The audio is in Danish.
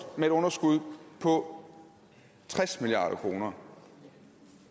med et underskud på tres milliard kroner